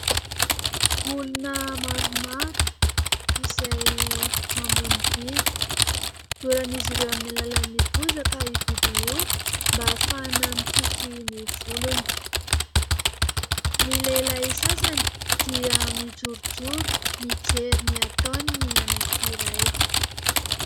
Olona maromaro izay mamono biby. Doran'izy ireo amin'ny alalan'ny bozaka io biby io mba hahafahana mikiky ny volony. Ny lehilahy sasany dia mijorojoro mijery ny ataon'ny anankiray.